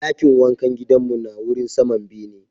Dakin wankan gidan mu na wurin saman bene.